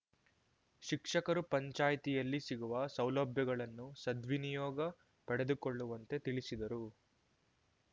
ಶಿಕ್ಷಕರು ಪಂಚಾಯಿತಿಯಲ್ಲಿ ಸಿಗುವ ಸೌಲಭ್ಯಗಳನ್ನು ಸದ್ವಿನಿಯೋಗ ಪಡೆದುಕೊಳ್ಳುವಂತೆ ತಿಳಿಸಿದರು